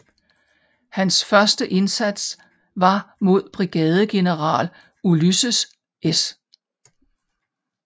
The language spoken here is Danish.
Hans første indsats var mod brigadegeneral Ulysses S